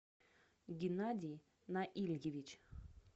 геннадий наильевич